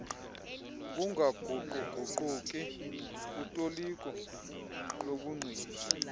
ukungaguquguquki kutoliko lobungqina